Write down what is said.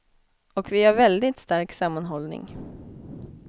Och vi har väldigt stark sammanhållning.